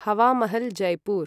Hawa Mahal, Jaipur